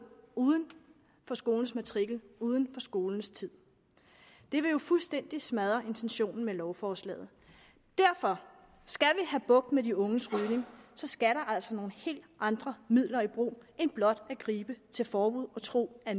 uden for skolens matrikel uden for skoletiden det vil jo fuldstændig smadre intentionen med lovforslaget derfor skal have bugt med de unges rygning skal der altså nogle helt andre midler i brug end blot at gribe til forbud og tro at